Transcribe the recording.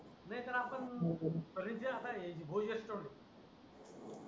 नाहीतर आपण रीचे आलाय भोजन करू